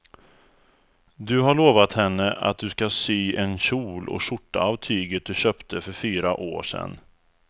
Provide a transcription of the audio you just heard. Du har lovat henne att du ska sy en kjol och skjorta av tyget du köpte för fyra år sedan.